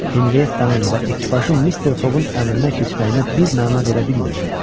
Henriyettanın və ekipajın Mister Foqun əmrinə keçməyinə bir məna verə bilmirdi.